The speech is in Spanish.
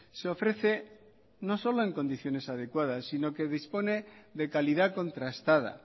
se ofrece no solo en condiciones adecuadas sino que dispone de calidad contrastada